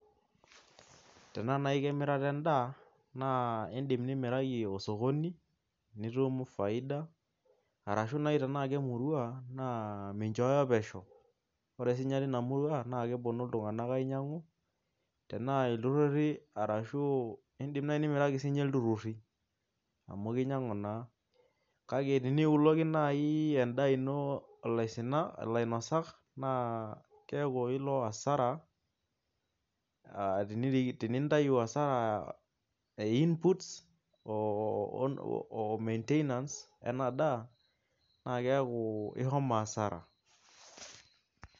Tenaa naai emirata endaa naa iindim nimiraki esokoni nitum faida ashu nai tenaa kemurua naa minchooyo pesho ore naai ake sinye tina murua naa keponu iltunganak ainyiang'u ilturrurri indim ake aisho ilturrurri amu kinyiang'u kake teniuloki endaa ino ilainosak naa keeku ilo asara aa tenintau asara ee [ca]inputs oo maintenance ena daa naa keeku ishomo asara.